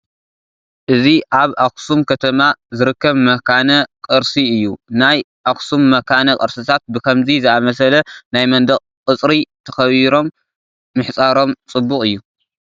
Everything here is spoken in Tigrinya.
እዚ ኣብ ኣኽሱም ከተማ ዝርከብ መካነ ቅርሲ እዩ፡፡ ናይ ኣኽሱም መኻነ ቅርስታት ብኸምዚ ዝኣምሰለ ናይ መንደቕ ቅፅሪ ተኸቢሮም ምሕፃሮም ፅቡቕ እዩ፡፡